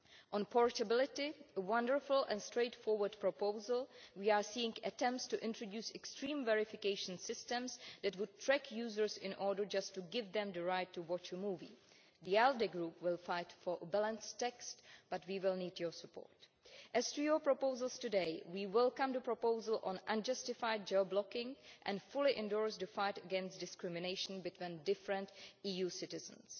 On portability, a wonderful and straightforward proposal, we are seeing attempts to introduce extreme verification systems that would track users in order just to give them the right to watch a movie. The ALDE Group will fight for a balanced text but we will need your support. As to your proposals today, we welcome the proposal on unjustified geo blocking and fully endorse to fight against discrimination between different EU citizens.